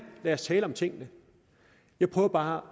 lad os tale om tingene jeg prøver bare